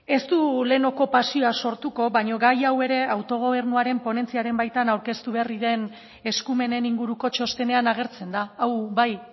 ez du leheneko pasioa sortuko baino gai hau ere autogobernuaren ponentziaren baitan aurkeztu berri den eskumenen inguruko txostenean agertzen da hau bai